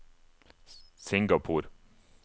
Singapore